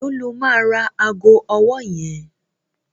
Èló lo máa ra ago ọwọ́ yẹn?